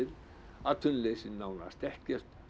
atvinnuleysi er nánast ekkert